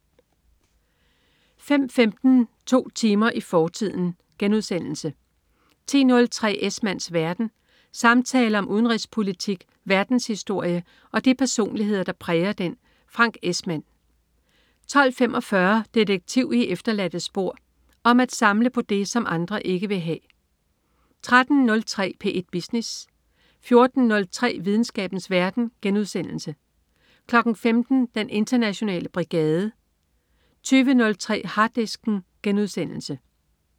05.15 To timer i fortiden* 10.03 Esmanns verden. Samtaler om udenrigspolitik, verdenshistorie og de personligheder, der præger den. Frank Esmann 12.45 Detektiv i efterladte spor. Om at samle på det, som andre ikke vil have 13.03 P1 Business 14.03 Videnskabens verden* 15.00 Den internationale brigade 20.03 Harddisken*